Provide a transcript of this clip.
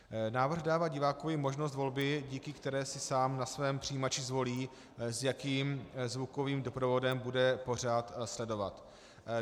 Návrh dává divákovi možnost volby, díky které si sám na svém přijímači zvolí, s jakým zvukovým doprovodem bude pořad sledovat.